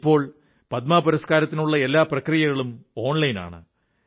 ഇപ്പോൾ പദ്മ പുരസ്കാരങ്ങൾക്കുള്ള എല്ലാ പ്രക്രിയകളും ഓൺലൈൻ ആണ്